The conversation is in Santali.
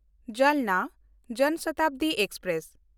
ᱡᱟᱞᱱᱟ ᱡᱚᱱ ᱥᱚᱛᱟᱵᱫᱤ ᱮᱠᱥᱯᱨᱮᱥ